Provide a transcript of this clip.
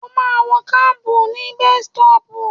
Ó ma wọ kábù ní bestọ́pù.